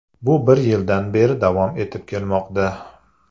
Bu bir yildan beri davom etib kelmoqda.